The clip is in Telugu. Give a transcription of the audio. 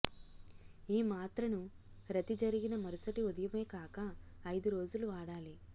ఈ మాత్రను రతి జరిగిన మరుసటి ఉదయమే కాక అయిదురోజులు వాడాలి